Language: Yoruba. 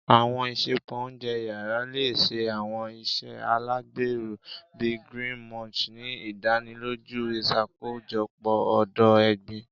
Àwọn isẹpo ounjẹ yara le ṣe àwọn iṣe alagbero, bii Green Munch, ni idaniloju iṣakojọpọ odo-egbin.